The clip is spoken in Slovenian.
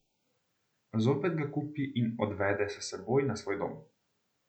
Zopet ga kupi in odvede s seboj na svoj dom.